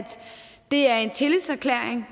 det er en tillidserklæring